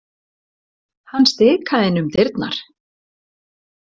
Hann stikaði inn um dyrnar.